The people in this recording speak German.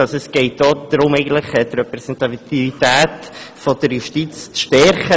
Es geht darum, die Repräsentativität der Justiz zu stärken.